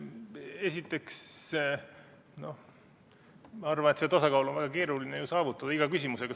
Esiteks, ma arvan, et seda tasakaalu on väga keeruline saavutada iga küsimusega.